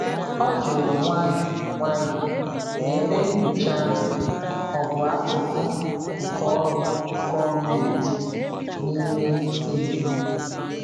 Ọ jụrụ nwayọọ nwayọọ ma ebe nyocha ahụ ọ bụ akụkụ nke ọrụ gọọmentị n’ime iwu.